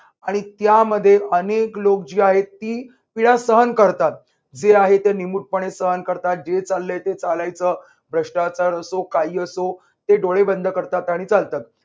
आणि त्यामध्ये अनेक लोक जी आहेत ती पीडा सहन करतात. जे आहे ते निमूटपणे सहन करतात, जे चाललंय ते चालायचं भ्रष्टाचार असो काही असो ते डोळे बंद करतात आणि चालतात.